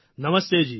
નમસ્તેજી